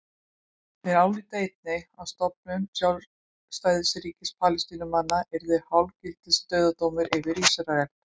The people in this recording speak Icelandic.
Þeir álíta einnig að stofnun sjálfstæðs ríkis Palestínumanna yrði hálfgildings dauðadómur yfir Ísrael.